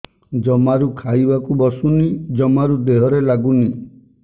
ଜମାରୁ ଖାଇବାକୁ ବସୁନି ଜମାରୁ ଦେହରେ ଲାଗୁନି